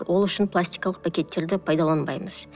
ол үшін пластикалық пакеттерді пайдаланбаймыз